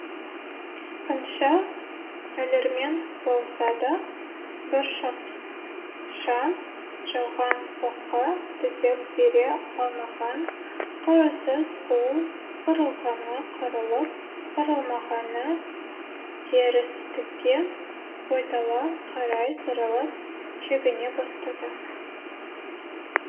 қанша өлермен болса да бұршақша жауған оққа төтеп бере алмаған қарусыз қол қырылғаны қырылып қырылмағаны терістікке ойтала қарай сырылып шегіне бастады